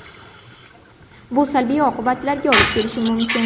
Bu salbiy oqibatlarga olib kelishi mumkin.